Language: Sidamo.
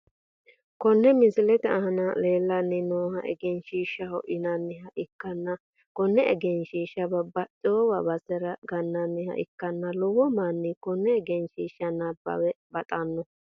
Konne misilete aana leelani nooha egenshshishaho yinaniha ikkanna kone egenshiisha babaxewo basera gananiha ikanna lowo mani kone egenshiisha nabawa baxano.